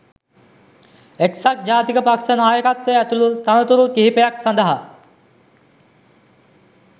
එක්සත් ජාතික පක්ෂ නායක්වය ඇතුළු තනතුරු කිහිපයක් සඳහා